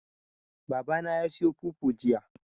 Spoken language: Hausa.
Baba na ya sayo fufu jiya.